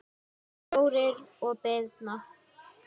Þórir og Birna.